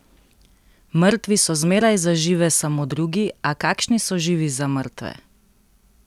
Mrtvi so zmeraj za žive samo drugi, a kakšni so živi za mrtve?